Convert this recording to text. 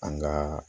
An ka